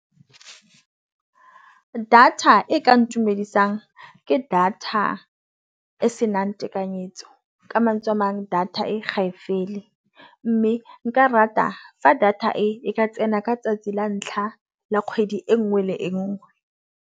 Data e ka ntumedisang ke data e senang tekanyetso. Ka mantswe amang data e ga e fele, mme nka rata fa data e ka tsena ka 'tsatsi la ntlha la kgwedi e nngwe le e nngwe.